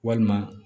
Walima